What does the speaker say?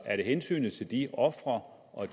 er det hensynet til de ofre og